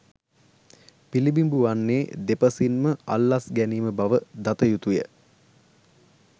පිළිඹිබු වන්නේ දෙපසින්ම අල්ලස් ගැනීම බව දතයුතුය.